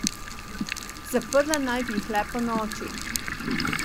Zaprla naj bi jih le ponoči.